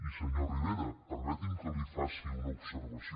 i senyor rivera permeti’m que li faci una observació